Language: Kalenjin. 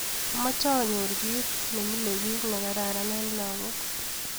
Amache anyor kito nemilebich ne kararan eng lakok